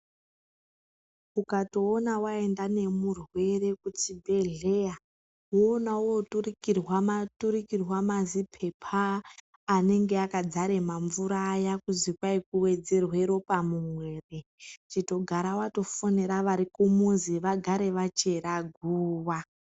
Ukatoona waenda nemurwere kuchibhedhleya, woona ooturikirwa ooturikirwa mazipepa anenge akadzare mamvura aya kuzi kwai kuwedzerwe ropa mumwiri, chitogara watofonera varikumuzi vagare vachera guwa.